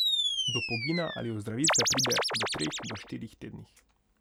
Do pogina ali ozdravitve pride v treh do štirih tednih.